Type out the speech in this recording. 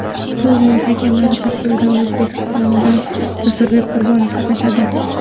Turnir hakamlari tarkibida O‘zbekistondan Jasurbek Qurbonov qatnashadi.